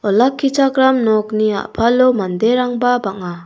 olakkichakram nokni a·palo manderangba bang·a.